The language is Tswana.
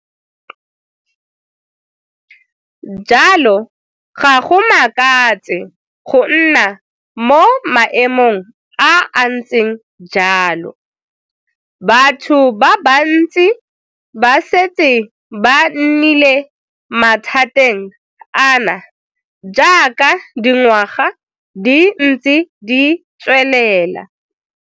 Jalo ga go makatse go nna mo maemong a a ntseng jalo. Batho ba bantsi ba setse ba nnile mathateng ana jaaka dingwaga di ntse di tswelela.